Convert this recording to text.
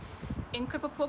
innkaupapokum